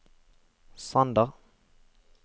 Sander